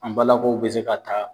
An balakaw be se ka ta.